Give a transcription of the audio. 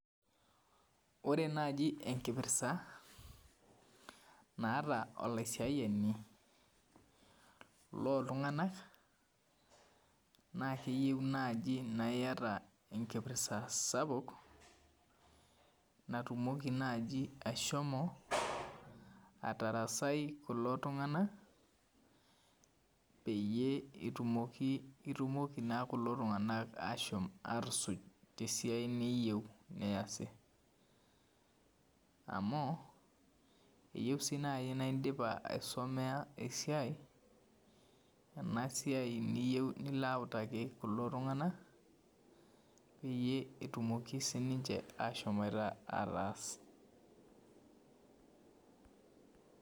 Ore naji enkipirsa naata olaisiayani loltunganak nakeyieu nai niata enkipirsa sapuk natumoki nai ashomo atarasai kulo tunganak peyieul itumoki na kulo tunganak ashom atusuj tesiai niyieu neasivamu eyieu nai naindipa aisumea ai siai enasiai niyeu nilo autaki rkulie tunganak peyie etumoki sinche ashom ataas .